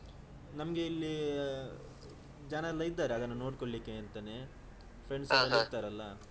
ನಮ್ಗೆ ಇಲ್ಲಿ ಜನ ಎಲ್ಲ ಇದ್ದಾರೆ ಅದನ್ನು ನೋಡ್ಕೊಳ್ಳಿಕ್ಕೆ ಅಂತಾನೆ friends ಎಲ್ಲ ಇರ್ತಾರೆ ಅಲ್ಲಾ.